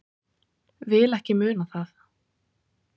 Vil ekki muna það.